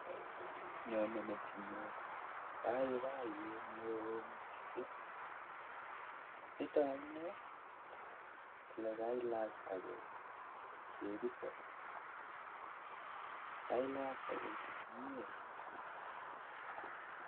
Nyonei metinyun boiboyet neo mising, nitok amunee chebi tok, kelachkei komyee